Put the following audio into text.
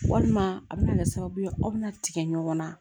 Walima a bɛna kɛ sababu ye aw bɛna tigɛ ɲɔgɔn na